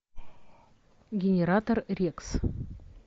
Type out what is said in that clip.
генератор рекс